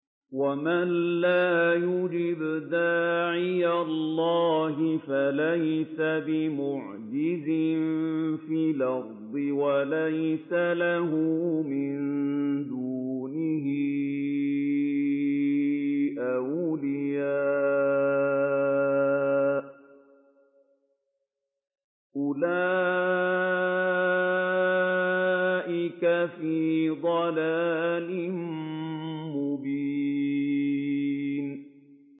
وَمَن لَّا يُجِبْ دَاعِيَ اللَّهِ فَلَيْسَ بِمُعْجِزٍ فِي الْأَرْضِ وَلَيْسَ لَهُ مِن دُونِهِ أَوْلِيَاءُ ۚ أُولَٰئِكَ فِي ضَلَالٍ مُّبِينٍ